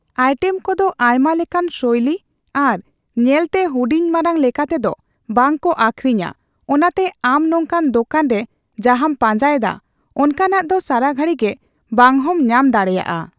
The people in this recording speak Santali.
ᱟᱭᱴᱮᱢ ᱠᱚᱫᱚ ᱟᱭᱢᱟᱞᱮᱠᱟᱱ ᱥᱳᱭᱞᱤ ᱟᱨ ᱧᱮᱞ ᱛᱮ ᱦᱩᱰᱤᱧ ᱢᱟᱨᱟᱝ ᱞᱮᱠᱟᱛᱮᱫᱚ ᱵᱟᱝ ᱠᱚ ᱟᱠᱷᱨᱤᱧᱟ ᱚᱱᱟᱛᱮ ᱟᱢ ᱱᱚᱝᱠᱟᱱ ᱫᱚᱠᱟᱱ ᱨᱮ ᱡᱟᱦᱟᱸᱢ ᱯᱟᱸᱡᱟ ᱮᱫᱟ ᱚᱱᱠᱟᱱᱟᱜ ᱫᱚ ᱥᱟᱨᱟᱜᱷᱟᱲᱤ ᱜᱮ ᱵᱟᱝ ᱦᱚᱢ ᱧᱟᱢ ᱫᱟᱲᱮᱭᱟᱜᱼᱟ ᱾